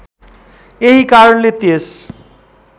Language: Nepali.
यही कारणले त्यस